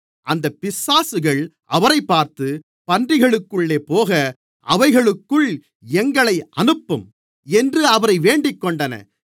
அந்தப் பிசாசுகள் அவரைப் பார்த்து பன்றிகளுக்குள்ளே போக அவைகளுக்குள் எங்களை அனுப்பும் என்று அவரை வேண்டிக்கொண்டன